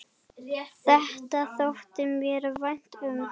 Þetta þótti mér vænt um.